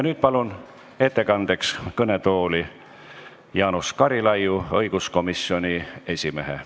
Nüüd palun ettekandeks kõnetooli Jaanus Karilaidi, õiguskomisjoni esimehe.